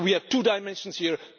So we have two dimensions here.